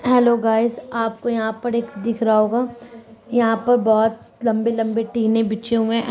Hello guys आपको यहां पर एक दिख रहा होगा। यहां पर बहुत लम्बे -लम्बे टीने बीछे हुए हैं ।